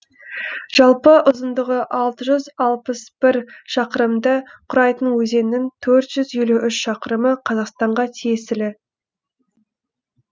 жалпы ұзындығы алты жүз алпыс бір шақырымды құрайтын өзеннің төрт жүз елу үш шақырымы қазақстанға тиесілі